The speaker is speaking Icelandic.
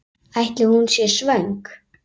Ætli hún sé svöng?